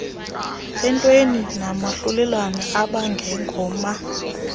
entweni nomahlulelane abangengoma